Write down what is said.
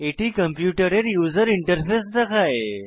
এটি কম্পিউটারের user interface দেখায়